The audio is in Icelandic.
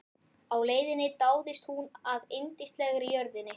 Á leiðinni dáðist hún að yndislegri jörðinni.